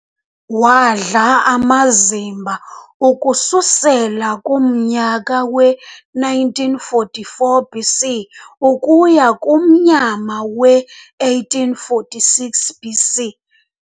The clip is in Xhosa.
Wadla amazimba ukususela kumnyaka we 1944 BC ukuya kumnyama we 1846 BC.